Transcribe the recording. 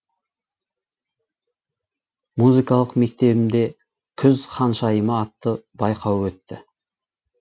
музыкалық мектебімде күз ханшайымы атты байқауы өтті